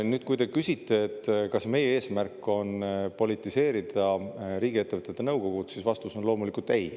Nüüd, kui te küsite, kas meie eesmärk on politiseerida riigiettevõtete nõukogud, siis vastus on loomulikult "ei".